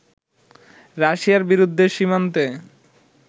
রাশিয়ার বিরুদ্ধে সীমান্তে